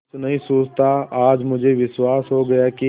कुछ नहीं सूझता आज मुझे विश्वास हो गया कि